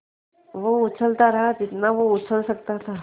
वो उछलता रहा जितना वो उछल सकता था